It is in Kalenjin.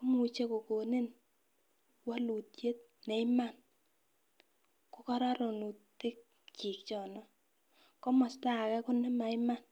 imuche kokonin wolutyet ne iman ko kororonutik chik chono komosto age ko nemaiman.